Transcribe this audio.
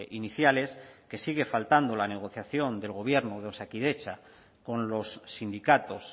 iniciales que sigue faltando la negociación del gobierno de osakidetza con los sindicatos